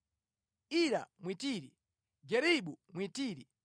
Ira Mwitiri, Garebu Mwitiri,